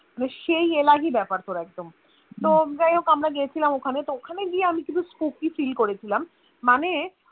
মানে সেই এলাহী ব্যাপার পুরো একদম তো যাইহোক আমরা গিয়েছিলাম ওখানে তো ওখানে গিয়ে আমি কিছু spookyFeel করেছিলাম মানে